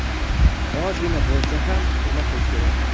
Ozgina bo‘lsa ham hurmat qilish kerak.